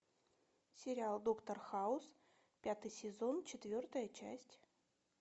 сериал доктор хаус пятый сезон четвертая часть